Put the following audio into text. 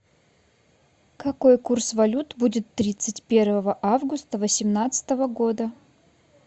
какой курс валют будет тридцать первого августа восемнадцатого года